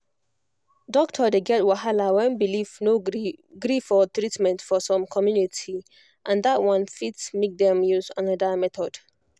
doctor dey get wahala when belief no gree gree for treatment for some community and that one fit make dem use another method